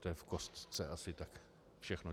To je v kostce asi tak všechno.